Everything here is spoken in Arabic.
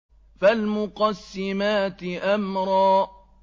فَالْمُقَسِّمَاتِ أَمْرًا